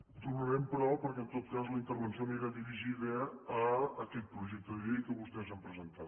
hi tornarem però perquè en tot cas la intervenció anirà dirigida a aquest projecte de llei que vostès han presentat